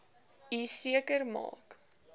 u seker maak